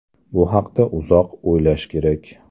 Bu haqda uzoq o‘ylash kerak.